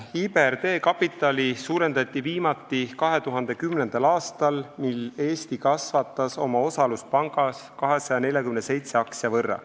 IBRD kapitali suurendati viimati 2010. aastal, mil Eesti kasvatas oma osalust pangas 247 aktsia võrra.